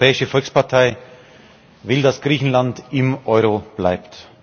Die Europäische Volkspartei will, dass Griechenland im Euro bleibt.